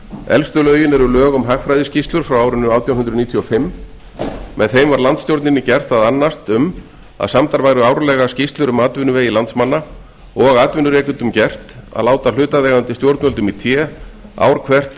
elstu lögin eru lög um hagfræðiskýrslur frá árinu átján hundruð níutíu og fimm með þeim var landsstjórninni gert að annast um að samdar væru árlega hagfræðiskýrslur um atvinnuvegi landsmanna og atvinnurekendum gert að láta hlutaðeigandi stjórnvöldum ár hvert í té